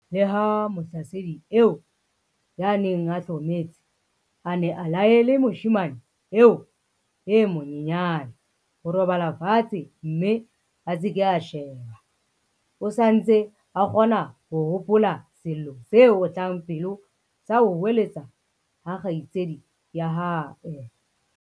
Leha mohlasedi eo ya neng a hlometse a ne a laele moshemane eo e monyenyane ho robala fatshe mme a se ke a sheba, o sa ntse a kgona ho hopola sello se otlang pelo sa ho hoeletsa ha kgaitsedi ya hae.